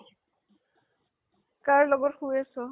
কাৰ লগত শুই আছ ?